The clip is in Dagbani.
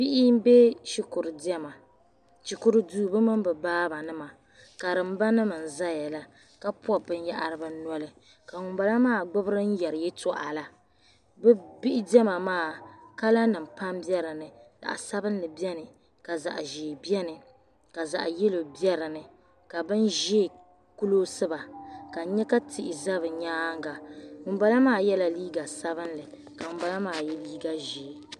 Bihi n be shikuru dema shikuru duu bi mini bi baa ba nima karim ba nim nzayala ka pɔbi bin yahiri bi nɔli ka ŋun bala maa gbubi din yari yatoɣala, bi bihi dema maa kala nim pam be dini zaɣi sabinli beni, zaɣi zɛɛ beni. ka zaɣi yɛlɔw be dini ka bi nzɛɛ kulɔsiba ka n. nya ka tihi zɛ bi nyaaŋa ŋun bala maa yela liiga sabinli ka ŋun balamaa. ye liiga zɛɛ.